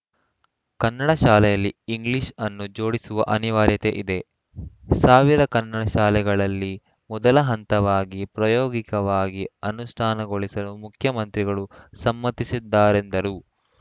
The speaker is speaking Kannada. ಕನ್ನಡ ಶಾಲೆಯಲ್ಲಿ ಇಂಗ್ಲೀಷ್‌ ಅನ್ನು ಜೋಡಿಸುವ ಅನಿವಾರ‍್ಯತೆ ಇದೆ ಸಾವಿರ ಕನ್ನಡಶಾಲೆಗಳಲ್ಲಿ ಮೊದಲಹಂತವಾಗಿ ಪ್ರಾಯೋಗಿಕವಾಗಿ ಅನುಷ್ಠಾನಗೊಳಿಸಲು ಮುಖ್ಯಮಂತ್ರಿಗಳು ಸಮ್ಮತಿಸಿದ್ದಾರೆಂದರು